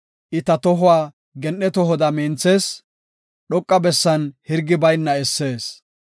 I ta tohuwa gen7e tohoda minthees; dhoqa bessan hirgi bayna essees.